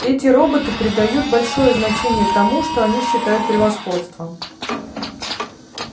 эти роботы придают большое значение тому что они считают превосходством